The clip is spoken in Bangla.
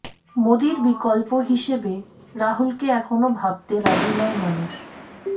মোদীর বিকল্প হিসেবে রাহুলকে এখনও ভাবতে রাজি নয় মানুষ